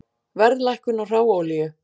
Verðlækkun á hráolíu